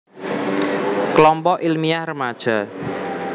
Kelompok Ilmiah Remaja